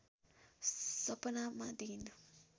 सपनामा दिइन्